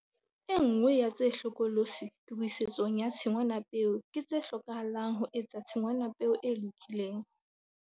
E nngwe ya tse hlokolosi tokisetsong ya tshingwanapeo ke tse hlokahalang ho etsa tshingwanapeo e lokileng.